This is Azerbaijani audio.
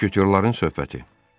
Müşketyorların söhbəti.